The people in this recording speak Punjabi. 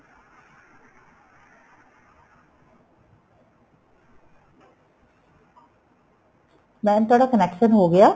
mam ਤੁਹਾਡਾ connection ਹੋ ਗਿਆ